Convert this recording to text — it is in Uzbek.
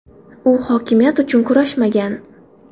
U hokimiyat uchun kurashmagan.